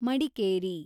Madikeri